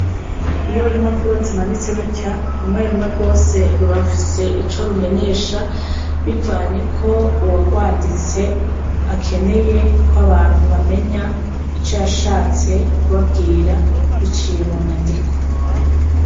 iyo impapuro zimanitse gutya, rumwe rumwe rwose ruba rufise ico rumenyesha bivanye ko uwarwanditse akeneye ko abantu bamenya ico yashatse kubabwira, biciye mu nyandiko.